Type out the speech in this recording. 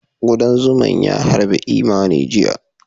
Ƙudan zuma ys harbi Imani jiya